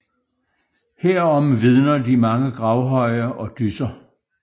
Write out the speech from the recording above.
Herom vidner de mange gravhøje og dysser